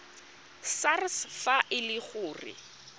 sars fa e le gore